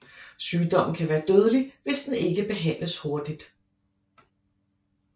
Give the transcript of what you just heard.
Sygdommen kan være dødelig hvis den ikke behandles hurtigt